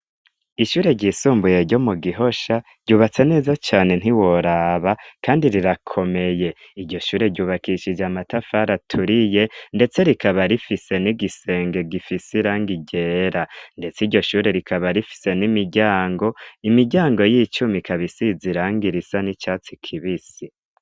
Ishure ryisumbuye ryo mu Gihosha ryubatse neza cane ntiworaba kandi rirakomeye. Iryo shure ryubakishije amatafari aturiye, ndetse rikaba rifise n'igisenge gifise irangi ryera. Ndetse iryo shure rikaba rifise n'imiryango; imiryango y'icuma ikaba isize irangi risa n'icatsi kibisi.